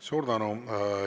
Suur tänu!